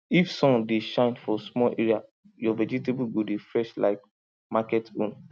if sun dey shine for small area your vegetable go dey fresh like market own